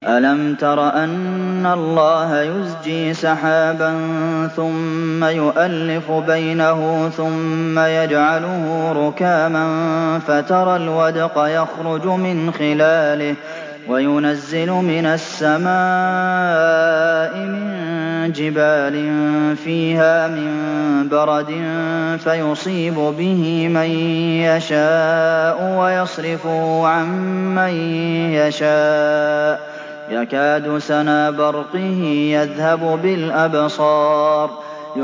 أَلَمْ تَرَ أَنَّ اللَّهَ يُزْجِي سَحَابًا ثُمَّ يُؤَلِّفُ بَيْنَهُ ثُمَّ يَجْعَلُهُ رُكَامًا فَتَرَى الْوَدْقَ يَخْرُجُ مِنْ خِلَالِهِ وَيُنَزِّلُ مِنَ السَّمَاءِ مِن جِبَالٍ فِيهَا مِن بَرَدٍ فَيُصِيبُ بِهِ مَن يَشَاءُ وَيَصْرِفُهُ عَن مَّن يَشَاءُ ۖ يَكَادُ سَنَا بَرْقِهِ يَذْهَبُ بِالْأَبْصَارِ